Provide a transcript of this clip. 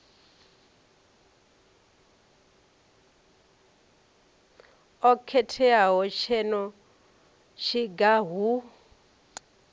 o khetheaho ngeno tshiga hu